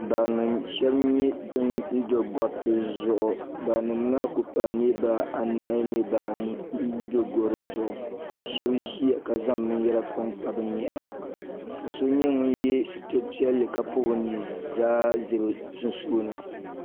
Barima sheba nyɛ ban do goriti zuɣu barinima maa kuli paagi niriba anahi niriba anu n do goro zuɣu ka sheba ʒia ka zaŋ binyɛra kpa bɛ nyɛhi ka so nyɛ ŋun ye sitiri piɛlli ka pobi o ni zaa za bɛ sunsuuni.